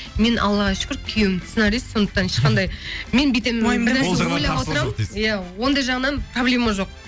мен аллаға шүкір күйеуім сценарист сондықтан ешқандай мен бүйтемін иә ондай жағынан проблема жоқ